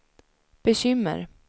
bekymmer